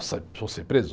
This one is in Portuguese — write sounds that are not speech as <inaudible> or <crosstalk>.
<unintelligible> eu vou ser preso.